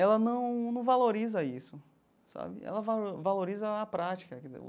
ela não não valoriza isso sabe, ela valo valoriza a prática quer dizer o.